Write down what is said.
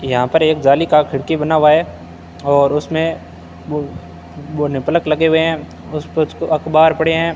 यहां पर एक जाली का खिड़की बना हुआ है और उसमें पलक लगे हुए हैं कुछ तो अखबार पड़े हैं।